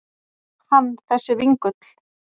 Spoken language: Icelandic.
Hann þessi vingull.